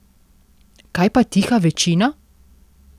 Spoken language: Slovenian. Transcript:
Kaj pa tiha večina?